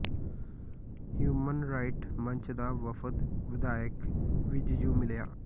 human right ਮੰਚ ਦਾ ਵਫ਼ਦ ਵਿਧਾਇਕ ਵਿੱਜ ਨੰੂ ਮਿਲਿਆ